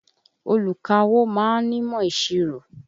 Olùkawó ma ń nímọ̀ ìṣirò.